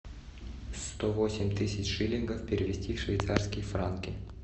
сто восемь тысяч шиллингов перевести в швейцарские франки